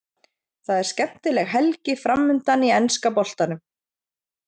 Það er skemmtileg helgi framundan í enska boltanum.